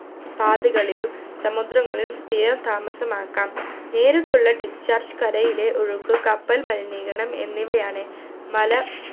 പാതകളിലും സമുദ്രങ്ങളിലും സ്ഥിരം താമസമാക്കാം നേരിട്ടുള്ള discharge കരയിലെ ഒഴുക്ക് കപ്പൽ മലിനീകരണം എന്നിവയാണ് മല